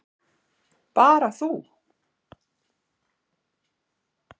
Bara þú.